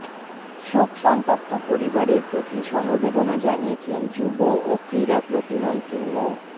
শোকসন্তপ্ত পরিবারের প্রতি সমবেদনা জানিয়েছেন যুব ও ক্রীড়া প্রতিমন্ত্রী মো